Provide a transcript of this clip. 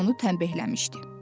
Qız onu tənbihləmişdi.